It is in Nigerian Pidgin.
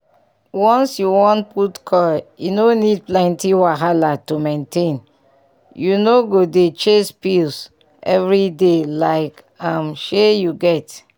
once you wan put coil e no need plenty wahala to maintainyou no go dey chase pill every day like um shey you get?